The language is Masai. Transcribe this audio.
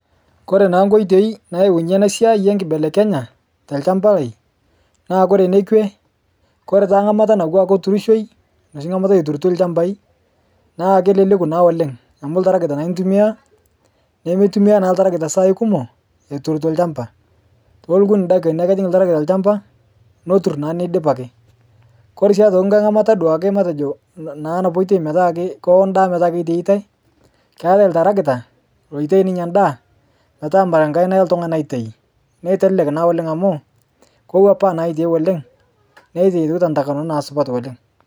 Kore naa koitei naayaunyie ena siai enkibelekenya tolchampa lai naa ore enekwe, ore naa ngamata nawua aa kuturishoi, noshi ngamata eturitoi ilchambai naa keleku naa oleng amu iltarakita naa intumia naa meitumia naa iltarakita isaai kumok eturito ilchamba. Ore nkiti daikani ake ejing iltarakita ilchamba netur naa neidip ake. Ore sii nkai ngamata duake matejo naa kewo endaa metaa keitaitai, keetai iltarakita oitayu ninye endaa metaa imenkaina oltungani naitayu neitelek naa amu kewuapaa naa eitieu oleng neititu naa nkaa supat oleng